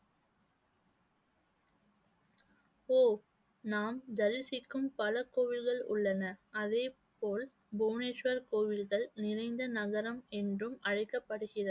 ஓ நாம் தரிசிக்கும் பல கோவில்கள் உள்ளன. அதே போல் புவனேஸ்வர் கோவில்கள் நிறைந்த நகரம் என்றும் அழைக்கப்படுகிறது